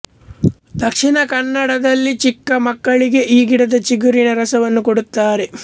ದಕ್ಷಿಣ ಕನ್ನಡದಲ್ಲಿ ಚಿಕ್ಕ ಮಕ್ಕಳಿಗೆ ಈ ಗಿಡದ ಚಿಗುರಿನ ರಸವನ್ನು ಕೊಡುತ್ತಾರೆ